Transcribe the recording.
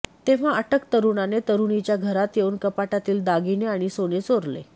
तेव्हा अटक तरुणाने तरुणीच्या घरात येऊन कपाटातील दागिने आणि सोने चोरले